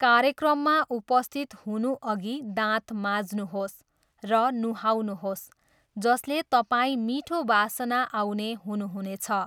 कार्यक्रममा उपस्थित हुनुअघि दाँत माझ्नुहोस् र नुहाउनुहोस् जसले तपाईँ मिठो वासना आउने हुनुहुनेछ।